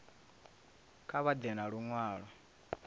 kha vha ḓe na luṅwalo